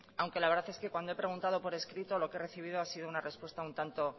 aunque la verdad es que cuando he preguntado por escrito lo que he recibido ha sido una respuesta un tanto